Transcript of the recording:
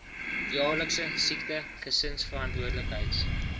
jaarlikse siekte gesinsverantwoordelikheids